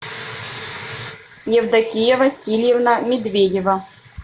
евдокия васильевна медведева